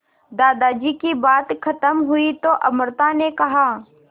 दादाजी की बात खत्म हुई तो अमृता ने कहा